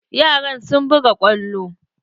Yaran sun buga kwallo.